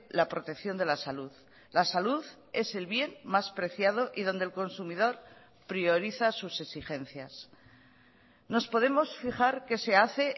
la protección de la salud la salud es el bien más preciado y donde el consumidor prioriza sus exigencias nos podemos fijar qué se hace